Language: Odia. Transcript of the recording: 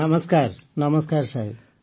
ନମସ୍କାର ନମସ୍କାର ସାହେବ